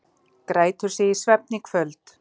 Grætur sig í svefn í kvöld